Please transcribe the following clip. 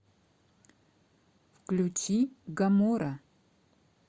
включи гамора